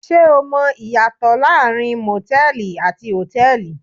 Ṣé o mọ ìyàtọ̀ láàárín motẹ̀ẹ̀li àti hotẹ́ẹ́li?